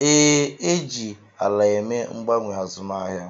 Ee, e ji ala eme mgbanwe azụmahịa